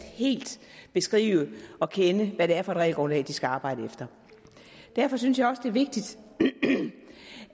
beskrive og kende det regelgrundlag de skal arbejde efter derfor synes jeg også det er vigtigt